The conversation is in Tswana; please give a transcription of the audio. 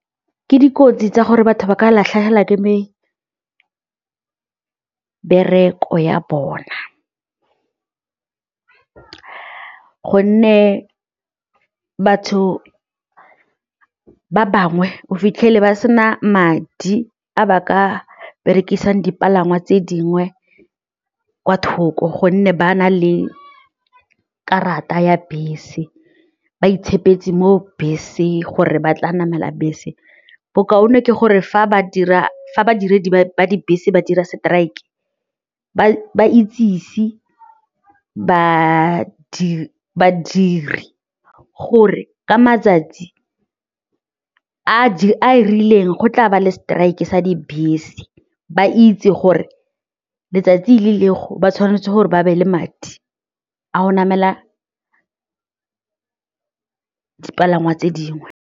Ke dikotsi tsa gore batho ba ka latlhegelwa ke mebereko ya bona gonne batho ba bangwe o fitlhele ba sena madi a ba ka berekisang dipalangwa tse dingwe kwa thoko gonne ba na le karata ya bese, ba itshepeletse mo beseng gore ba tla namela bese, bokaone ke gore fa badiredi ba dibese ba dira strike ba itsise badiri gore ka matsatsi a a rileng go tla ba le strike-e sa dibese ba itse gore letsatsi le ba tshwanetse gore ba be le madi a go namela dipalangwa tse dingwe.